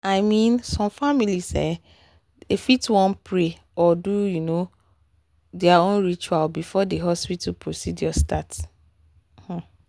i mean some families fit um wan pray or do their um own ritual um before the hospital procedure start.